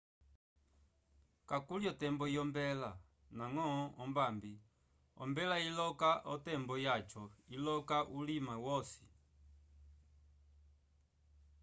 kakuli o tembo yombela ndañgo ombambi ombela iloka o tembo yaco iloka ulima wosi